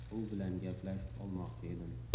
U bilan gaplashib olmoqchi edim.